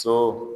So